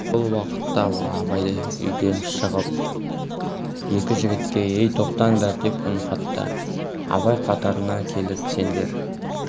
сол уақытта абай үйден шығып екі жігітке ей тоқтаңдар деп үн қатты абай қатарына келіп сендер